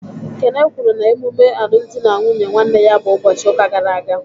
Kene kwuru na emume alụmdi na nwunye nwanne ya bụ ụbọchị ụka gara aga.